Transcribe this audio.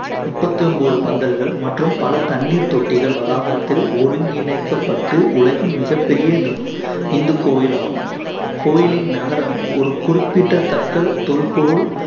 முப்பத்தி ஒன்பது பந்தல்கள், மற்றும் பல தண்ணீர் தொட்டிகள் வளாகத்தில் ஒருங்கிணைக்கப்பட்டு உலகின் மிகப்பெரிய இந்த இந்து கோவிலாகும். கோயிலின் நகரம் ஒரு குறிப்பிட்டத்தக்க தொல்பொருள்